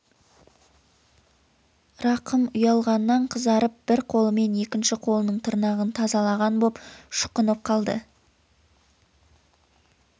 рахым ұялғаннан қызарып бір қолымен екінші қолының тырнағын тазалаған боп шұқынып қалды